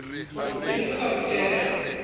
ke ne ke sa ruteha